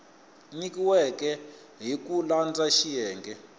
nyikiweke hi ku landza xiyenge